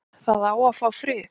Það á að fá frið